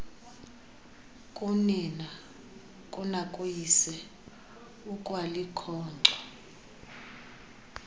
kunina kunakuyise ukwalikhonkco